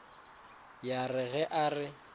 ya re ge a re